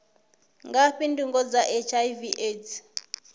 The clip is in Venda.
ngafhi ndingo dza hiv aids